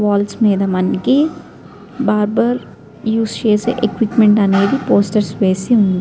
Walls మీద మనకి barber use చేసే ఎక్విప్మెంట్ అనేది పోస్టర్స్ వేసి ఉంది.